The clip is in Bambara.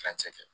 Furancɛ kɛ